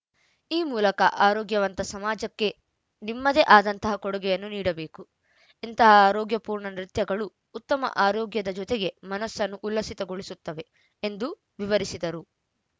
ಈ ಮೂಲಕ ಆರೋಗ್ಯವಂತ ಸಮಾಜಕ್ಕೆ ನಿಮ್ಮದೇ ಆದಂತಹ ಕೊಡುಗೆಯನ್ನು ನೀಡಬೇಕು ಇಂತಹ ಆರೋಗ್ಯ ಪೂರ್ಣ ನೃತ್ಯಗಳು ಉತ್ತಮ ಆರೋಗ್ಯದ ಜೊತೆಗೆ ಮನಸ್ಸನ್ನೂ ಉಲ್ಲಸಿತಗೊಳಿಸುತ್ತವೆ ಎಂದು ವಿವರಿಸಿದರು